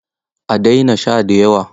A daina sha da yawa.